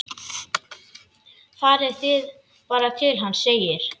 Farið þið bara til hans, segir